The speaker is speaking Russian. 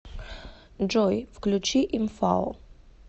джой включи имфао